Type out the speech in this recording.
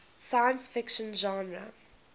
science fiction genre